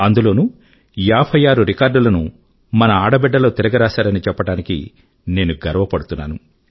అందులోనూ 56 రికార్డుల ను మన ఆడబిడ్డలు తిరగరాశారని చెప్పడానికి నేను గర్వపడుతున్నాను